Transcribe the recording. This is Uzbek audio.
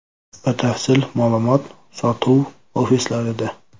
Batafsil ma’lumot sotuv ofislarida!